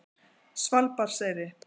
Svalbarðseyri